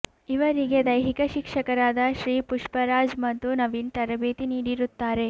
ಇವರಿಗೆ ದೈಹಿಕ ಶಿಕ್ಷಕರಾದ ಶ್ರೀ ಪುಷ್ಟರಾಜ್ ಮತ್ತು ನವೀನ್ ತರಬೇತಿ ನೀಡಿರುತ್ತಾರೆ